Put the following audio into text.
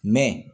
Mɛ